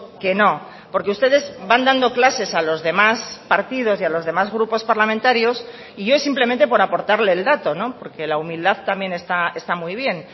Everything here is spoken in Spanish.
que no porque ustedes van dando clases a los demás partidos y a los demás grupos parlamentarios y yo es simplemente por aportarle el dato porque la humildad también está muy bien